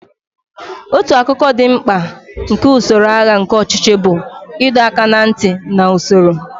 Otu akụkụ dị mkpa nke usoro agha nke ọchịchị bụ ịdọ aka ná ntị na usoro.